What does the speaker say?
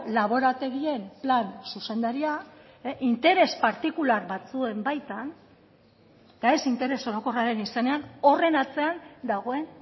laborategien plan zuzendaria interes partikular batzuen baitan eta ez interes orokorraren izenean horren atzean dagoen